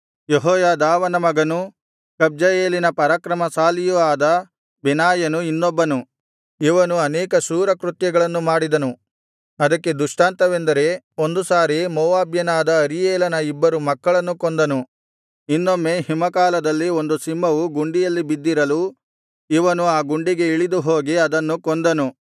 ಯೆಹೋಯಾದಾವನ ಮಗನೂ ಕಬ್ಜಯೇಲಿನ ಪರಾಕ್ರಮಶಾಲಿಯೂ ಆದ ಬೆನಾಯನು ಇನ್ನೊಬ್ಬನು ಇವನು ಅನೇಕ ಶೂರಕೃತ್ಯಗಳನ್ನು ಮಾಡಿದನು ಅದಕ್ಕೆ ದೃಷ್ಟಾಂತವೆಂದರೆ ಒಂದು ಸಾರಿ ಮೋವಾಬ್ಯನಾದ ಅರೀಯೇಲನ ಇಬ್ಬರು ಮಕ್ಕಳನ್ನು ಕೊಂದನು ಇನ್ನೊಮ್ಮೆ ಹಿಮಕಾಲದಲ್ಲಿ ಒಂದು ಸಿಂಹವು ಗುಂಡಿಯಲ್ಲಿ ಬಿದ್ದಿರಲು ಇವನು ಆ ಗುಂಡಿಗೆ ಇಳಿದು ಹೋಗಿ ಅದನ್ನು ಕೊಂದನು